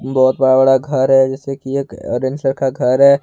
बहोत बड़ा बड़ा घर है जैसे की एक औरेंज कलर का घर है।